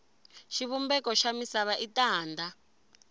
xivumbeko xa misava i tanda